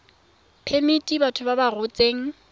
phemiti batho ba ba rotseng